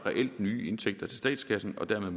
nye indtægter til statskassen og dermed